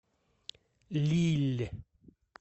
лилль